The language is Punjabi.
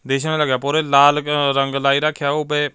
ਦੇਸ਼ ਲਗਿਆ ਪੂਰੇ ਲਾਲ ਰੰਗ ਲਾਈ ਰੱਖਿਆ ਉਹ ਪ--